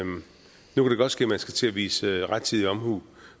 godt ske at man skal til at vise rettidig omhu